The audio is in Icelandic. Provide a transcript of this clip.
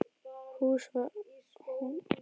Hún var alltaf dálítið ærslasöm, hún Gerður.